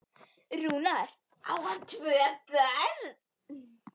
Rúnar, á hann tvö börn.